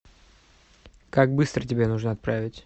как быстро тебе нужно отправить